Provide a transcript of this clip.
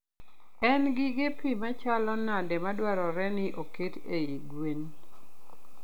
En gige pi machalo nade madwarore ni oket ei gwen?